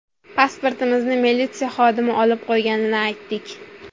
Pasportimizni militsiya xodimi olib qo‘yganini aytdik.